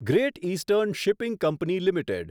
great eastern shipping company limited